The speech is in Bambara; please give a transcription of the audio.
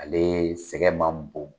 Ale sɛgɛn man bon.